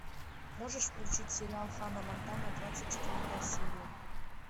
можешь включить сериал ханна монтана двадцать четвертая серия